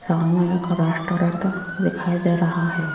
सामने एक रेस्टोरेंट दिखाई दे रहा है।